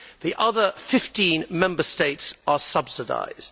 The other 15 Member States are subsidised.